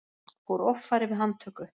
Fór offari við handtöku